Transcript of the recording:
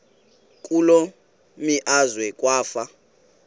kule meazwe kwafa